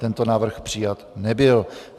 Tento návrh přijat nebyl.